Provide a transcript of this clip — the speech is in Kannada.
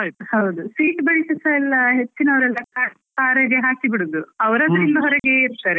ಹೌದು, seat belt ಸ ಎಲ್ಲ ಹೆಚ್ಚಿನವ್ರೆಲ್ಲ car ರಿಗೆ ಹಾಕಿ ಬಿಡುದು, ಹೊರಗೆ ಇರ್ತರೆ.